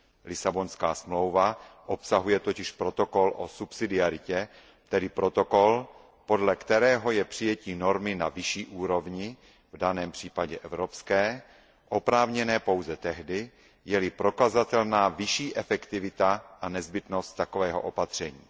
Lisabonská smlouva obsahuje totiž protokol o subsidiaritě, tedy protokol, podle kterého je přijetí normy na vyšší úrovni, v daném případě evropské, oprávněné pouze tehdy, je li prokazatelná vyšší efektivita a nezbytnost takového opatření.